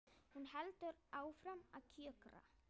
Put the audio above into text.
Hún heldur áfram að kjökra.